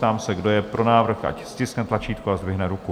Ptám se, kdo je pro návrh, ať stiskne tlačítko a zdvihne ruku.